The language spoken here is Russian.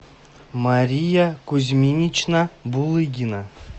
мария кузьминична булыгина